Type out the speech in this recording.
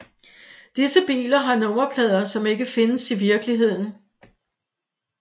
Disse biler har nummerplader som ikke findes i virkeligheden